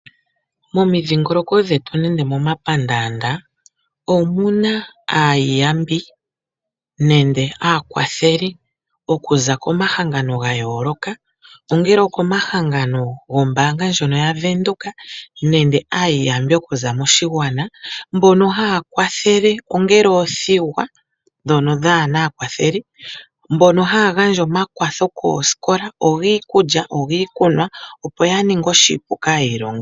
Momidhingoloko dhetu nenge momapandaanda omu na aayiyambi nenge aakwatheli okuza komahangano ga yooloka, ongele okomahangano gombaanga ndjono yaVenduka nenge aayiyambi okuza moshigwana, mbono haya kwathele ongele oothigwa ndhono dhaa na aakwatheli mbono haya gandja omakwatho koosikola, ogiikulya, ogiikunwa, opo ya ninge oshipu kaayilongi.